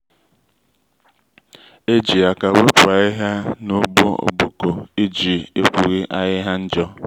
eji àkà wèpu ahihia na ugbo ogboko iji ekwughi ahihia njo.